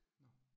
Nåh